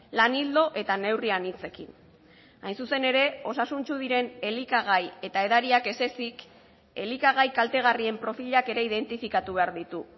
lan ildo eta neurri anitzekin hain zuzen ere osasuntsu diren elikagai eta edariak ez ezik elikagai kaltegarrien profilak ere identifikatu behar ditu